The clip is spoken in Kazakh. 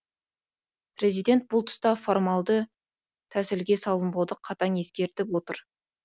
президент бұл тұста формалды тәсілге салынбауды қатаң ескертіп отыр